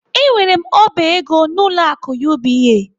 Enwere m oba ego n'ụlọ akụ UBA.